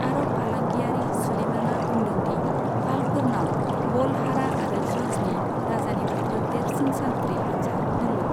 आरब फालांगियारि सुलेमानआ बुंदों दि पालफोरनाव बलहारा आरो जुर्जनि राजानिफ्रायबो देरसिन सान्थ्रि हानजा दंमोन।